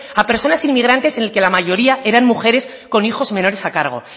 a personas inmigrantes en el que la mayoría eran mujeres con hijos menores a cargo